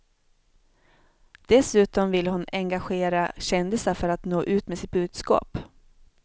Dessutom vill hon engagera kändisar för att nå ut med sitt budskap.